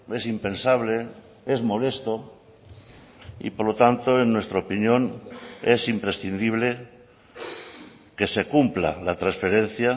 es impensable es molesto y por lo tanto en nuestra opinión es imprescindible que se cumpla la transferencia